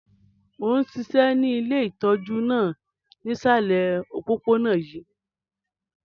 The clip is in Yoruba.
Mo n ṣiṣẹ́ ni ile itọju náà nisalẹ̀ opopona yii.